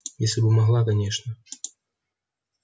если бы могла конечно